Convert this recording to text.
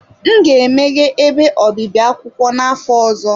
M ga-emeghe ebe obibi akwụkwọ n'afọ ọzọ.